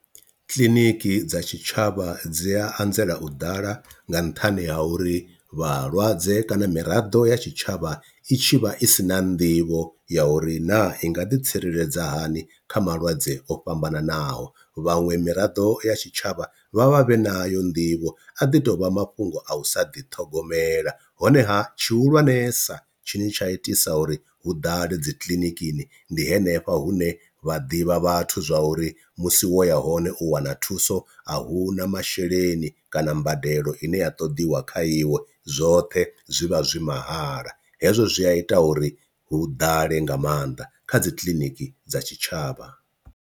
Kiḽiniki dza tshitshavha dzi a anzela u ḓala nga nṱhani ha uri vhalwadze kana miraḓo ya tshitshavha i tshi vha i si na nḓivho ya uri naa i nga ḓi tsireledza hani kha malwadze o fhambananaho, vhaṅwe miraḓo ya tshitshavha vha vhavhe nayo nḓivho a ḓi tovha mafhungo a u sa ḓithogomela, honeha tshi hulwanesa tshine tsha itisa uri hu ḓale dzi kiḽinikini ndi henefha hune vha ḓivha vhathu zwa uri musi wo ya hone u wana thuso a hu na masheleni kana mbadelo ine ya ṱoḓiwa kha iwe zwoṱhe zwi vha zwi mahala, hezwo zwi a ita uri hu ḓale nga maanḓa kha dzi kiḽiniki dza tshitshavha.